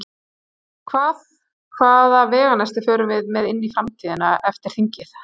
Hvað, hvaða veganesti förum við með inn í framtíðina eftir, eftir þingið?